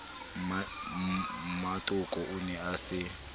mmatoko o ne a se